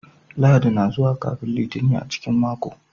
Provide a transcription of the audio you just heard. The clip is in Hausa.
Lahadi na zuwa kafin Litinin a cikin mako.